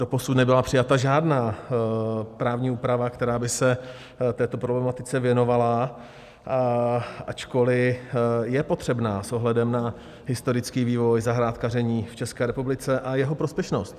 Doposud nebyla přijata žádná právní úprava, která by se této problematice věnovala, ačkoliv je potřebná s ohledem na historický vývoj zahrádkaření v České republice a jeho prospěšnost.